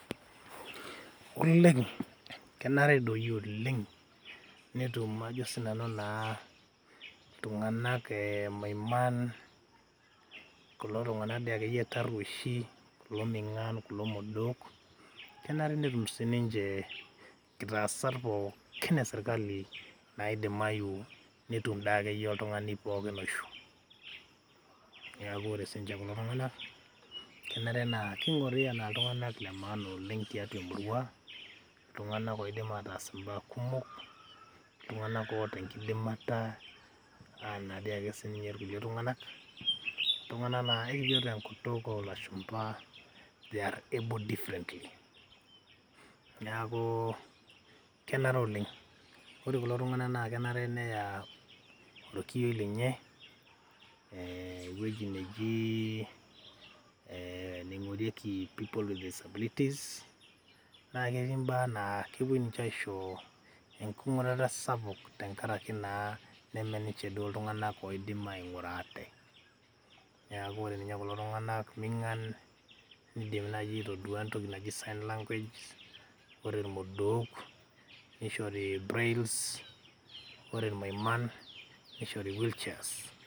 Oleng , kenare doi oleng netum ajo sinanu naa iltunganak maiman , kulo tunganak dii akeyie taruoshi , kulo mingan , kulo modook kenare netum sininche kitaasat pookin e sirkali naidimayu netum dii akeyie oltungani pookin oishiu, Niaku ore sininche kulo tunganak kenare naa kingori anaa iltunganak le maana oleng , tiatua emurua, iltunganak oidim ataas imbaa kumok .Iltunganak oota enkidimata anaa ake irkulie tunganak . Iltunganak naa ekijo te enkutuk olashumba they are able different .Niaku kenare oleng , ore kulo tunganak kenare neya orkioi lenye ewueji neji ee neingorieki people with disabilities naa ketii mbaa naa kepuo ninche aisho enkingurata sapuk.